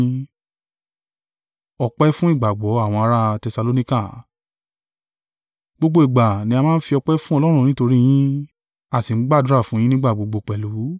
Gbogbo ìgbà ni a máa ń fi ọpẹ́ fún Ọlọ́run nítorí yín, a sì ń gbàdúrà fún un yín nígbà gbogbo pẹ̀lú.